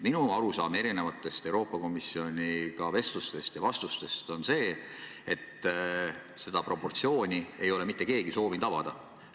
Minu arusaam Euroopa Komisjoni vestlustest ja vastustest on see, et seda proportsiooni ei ole mitte keegi soovinud avada.